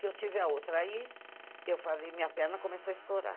Que eu tive a outra aí, eu falei, minha perna começou a estourar.